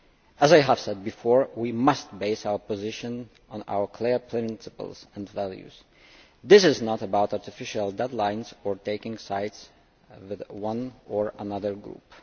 As I have said before, we must base our position on our clear principles and values. This is not about artificial deadlines or taking sides with one or another group.